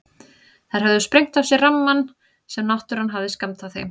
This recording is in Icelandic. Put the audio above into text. Þær höfðu sprengt af sér rammann sem náttúran hafði skammtað þeim.